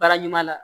Baara ɲuman na